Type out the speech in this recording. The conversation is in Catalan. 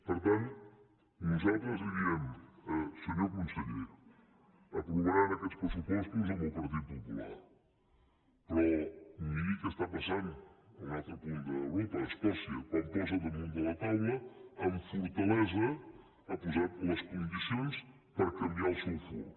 per tant nosaltres li diem senyor conseller aprovaran aquests pressupostos amb el partit popular però miri què esta passant a un altre punt d’europa a escòcia quan posa damunt de la taula amb fortalesa ha posat les condicions per canviar el seu fur